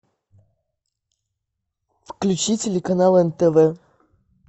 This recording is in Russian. включи телеканал нтв